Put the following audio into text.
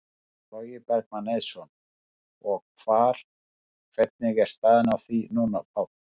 Logi Bergmann Eiðsson: Og hvar, hvernig er staðan á því núna, Páll?